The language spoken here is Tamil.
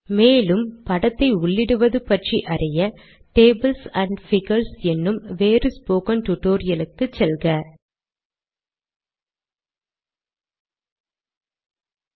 மேலும் நீங்கள் படத்தை உள்ளிடுவது பற்றி அறிய டேபிள்ஸ் ஆண்ட் பிகர்ஸ் என்னும் வேறு ஸ்போக்கன் டுடோரியல் க்கு செல்ல வேண்டும்